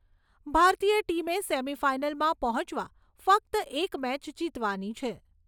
ભારતીય ટીમે સેમીફાઈનલમાં પહોંચવા ફક્ત એક મેચ જીતવાની છે.